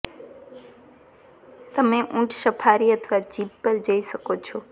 તમે ઊંટ સફારી અથવા જીપ પર જઈ શકો છો